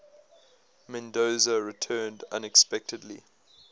mendoza returned unexpectedly